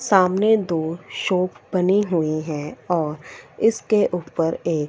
सामने दो शॉप बनी हुईं हैं और इसके ऊपर एक--